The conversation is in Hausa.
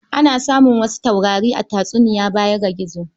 Ana samu wasu taurari a tatsuniya baya ga gizo.